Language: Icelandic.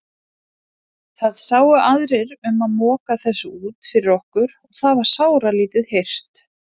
Það sáu aðrir um að moka þessu út fyrir okkur og það var sáralítið hirt.